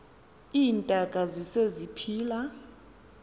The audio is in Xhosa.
iintaka zise ziphila